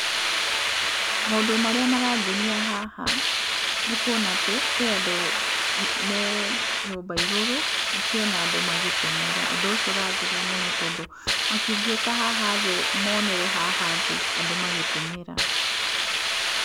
Maũndũ marĩa marangenia haha nĩ kũona atĩ, kwĩ andũ me nyũmba igũrũ makĩona andũ magĩteng'era. Ũndũ ũcio ũrangenia mũno tondũ, matingĩũka haha thĩ moonere haha thĩ andũ magĩteng'era?